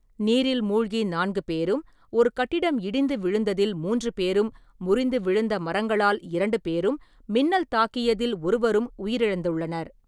நீரில் மூழ்கி நான்கு பேரும், ஒரு கட்டிடம் இடிந்து விழுந்ததில் மூன்று பேரும், முறிந்து விழுந்த மரங்களால் இரண்டு பேரும், மின்னல் தாக்கியதில் ஒருவரும் உயிரிழந்துள்ளனர்.